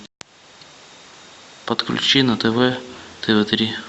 подключи на тв тв три